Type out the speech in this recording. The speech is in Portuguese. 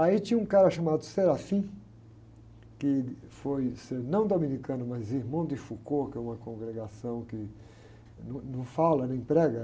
Aí tinha um cara chamado, que ele foi ser não dominicano, mas irmão de Foucault, que é uma congregação que num, não fala nem prega.